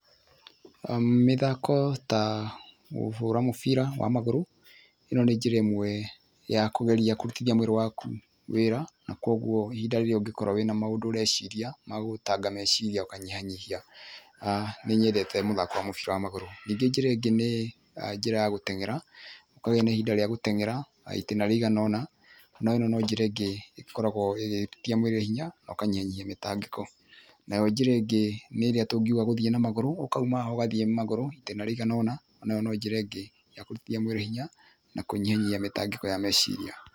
Mĩthako ta kũhũra mũbira wa magũrũ ĩno nĩ njĩra ĩmwe ya kũhota kũrutithia mwĩrĩ waku wĩra na koguo ihinda rĩrĩa ũngĩkorwo wĩna maũndũ ũreciria ma gũgũtanga meciria ũkanyihanyihia, ah nĩnyendete mũthako wa mũbira wa magũrũ. Ningĩ njĩra ĩngĩ nĩ njĩra ya gũteng'era ũkagĩa na ihinda rĩa gũteng'era itĩna rĩigana ona na ĩno no njĩra ĩngĩ ĩkoragwo ĩgĩtia mwĩrĩ hinya na ũkanyihanyihia mĩtangĩko. Nayo njĩra ĩngĩ nĩĩrĩa tũngiuga ya gũthie na magũrũ ũkauma haha ũgathie magũrũ itĩna rĩigana ũna iyo no njĩra ĩngĩ ya gwĩtia mwĩrĩ hinya na kũnyihanyihia mĩtangĩko ya meciria.